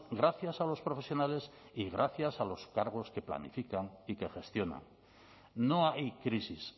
gracias a los profesionales y gracias a los cargos que planifican y que gestionan no hay crisis